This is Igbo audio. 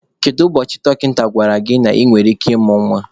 Kedu ụbọchị dọkịta gwara gị na ị nwere ike ịmụ nwa?